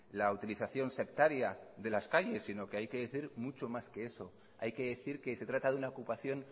la utilización sectaria de las calles sino que hay que decir mucho más que eso hay que decir que se trata de una ocupación